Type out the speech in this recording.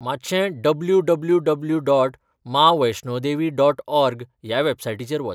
मातशें W W W dot Maa Vaishno Devi dot org ह्या वॅबसायटीचेर वच.